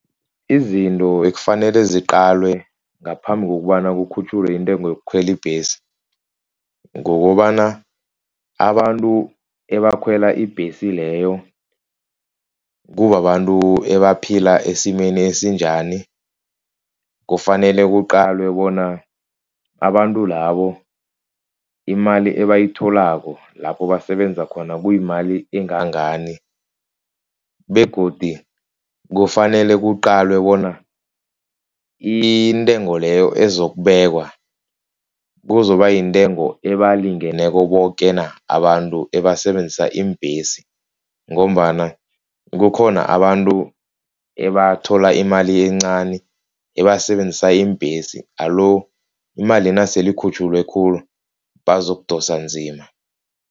Izinto ekufanele ziqalwe ngaphambi kokobana kukhutjhulwe intengo yokukhwela ibhesi, kukobana abantu abakhwela ibhesi leyo kubabantu abaphila esimeni esinjani. Kufanele kuqalwe bona abantu labo imali abayitholako lapha basebenza khona, kuyimali engangani begodi kufanele kuqalwe bona intengo leyo ezokubekwa, kuzoba yintengo ezibalingeneko boke na abantu abasebenzisa iimbhesi ngombana kukhona abantu ebathola imali encani abasebenzisa iimbhesi. Alo, imali nasele ikhutjhulwe khulu bazokudosa nzima.